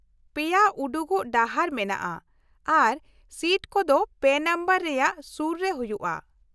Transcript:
ᱯᱮᱭᱟ ᱩᱰᱩᱠᱚᱜ ᱰᱟᱦᱟᱨ ᱢᱮᱱᱟᱜᱼᱟ, ᱟᱨ ᱥᱤᱴ ᱠᱚᱫᱚ ᱯᱮ ᱱᱟᱢᱵᱟᱨ ᱨᱮᱭᱟᱜ ᱥᱩᱨ ᱨᱮ ᱦᱩᱭᱩᱜᱼᱟ ᱾